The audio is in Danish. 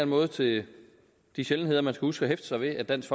måde til de sjældenheder man huske at hæfte sig ved at dansk